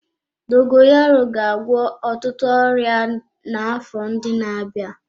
Dogoyaro ga-agwọ ọtụtụ ọrịa n'afọ ndị na-abịa.